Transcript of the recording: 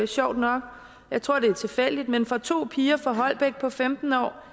sjovt nok jeg tror det er tilfældigt men fra to piger på femten år